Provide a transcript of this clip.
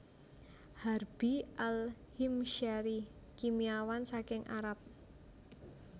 Harbi Al Himsyari kimiawan saking Arab